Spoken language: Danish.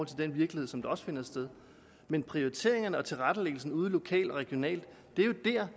til den virkelighed som også findes men prioriteringerne og tilrettelæggelsen ude lokalt og regionalt